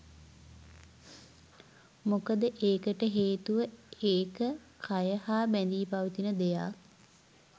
මොකද ඒකට හේතුව ඒක කය හා බැඳී පවතින දෙයක්.